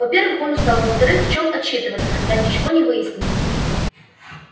во-первых он устал а во-вторых в чем отчитываться когда ничего ещё не выяснено